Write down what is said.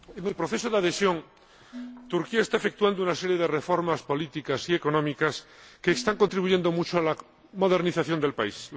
Señor Presidente, en el proceso de adhesión, Turquía está efectuando una serie de reformas políticas y económicas que están contribuyendo mucho a la modernización del país.